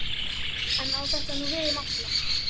En á þetta nú við um alla?